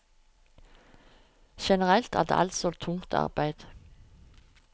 Generelt er det altså tungt arbeide.